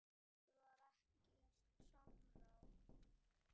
Það var ekkert samráð.